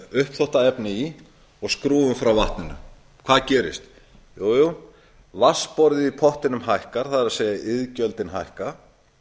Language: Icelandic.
hjá okkur setjum smáuppþvottaefni í og skrúfum frá vatninu hvað gerist jú jú vatnsborðið í pottinum hækkar það er iðgjöldin hækka